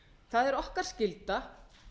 það er okkar skylda